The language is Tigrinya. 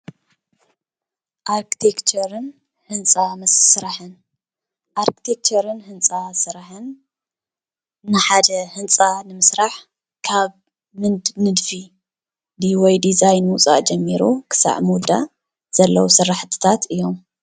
ኣርክቴክቸርን ህንፃ ስራሕን ኣርክቴክቸርን ህንፃ ስራሕን ንሓደ ህንፃ ንምስራሕ ካብ ንድፊ ወይ ድዛይን ምውፃእ ጀሚሩ ክሳብ ዝውዳእ ዘለው ስራሕትታት እዮም፡፡